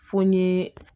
Fo n ye